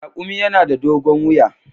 Raƙumi yana da dogon wiya.